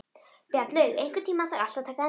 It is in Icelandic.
Bjarnlaug, einhvern tímann þarf allt að taka enda.